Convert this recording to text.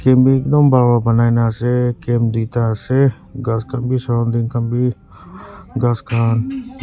ekdom buhal wa banai nah ase camp dui ta ase ghas khan bhi surrounding khan bhi ghas khan--